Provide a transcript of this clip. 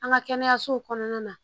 An ka kɛnɛyasow kɔnɔna na